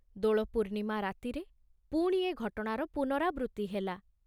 ଦୋଳ ପୂର୍ଣ୍ଣିମା ରାତିରେ ପୁଣି ଏ ଘଟଣାର ପୁନରାବୃତ୍ତି ହେଲା।